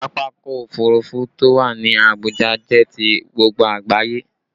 Pápákọ̀ òfurufú to wá ní Abuja jẹ ti gbogbo àgbáyé